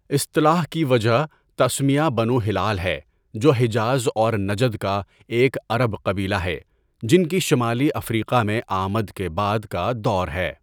اصطلاح کی وجہ تسمیہ بنو ہلال ہے جو حجاز اور نجد کا ایک عرب قبیلہ ہے جن کی شمالی افریقا میں ا٘مد کے بعد کا دور ہے.